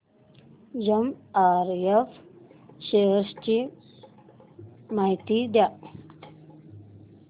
MRF shares ची माहिती द्या